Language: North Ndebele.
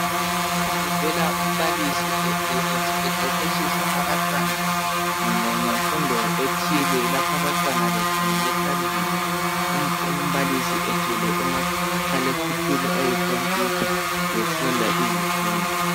Lapha kuvela umbalisi eqeqetshisa abantwana ngemfundo ethile lapho abantwana bekhangele phambili umbalisi ethwele umakhalekhukhwini oyi computer befunda izifundo